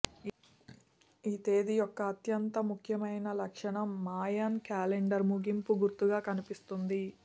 ఈ తేదీ యొక్క అత్యంత ముఖ్యమైన లక్షణం మాయన్ క్యాలెండర్ ముగింపు గుర్తుగా కనిపిస్తుంది